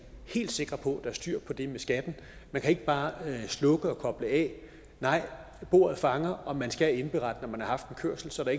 helt sikre på at der er styr på det med skatten man kan ikke bare slukke og koble af nej bordet fanger og man skal indberette når man har en kørsel og så er